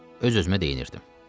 Öz-özümə deyinirdim.